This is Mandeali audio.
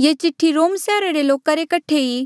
ये चिठ्ठी रोम सैहरा रे लोका रे कठे ई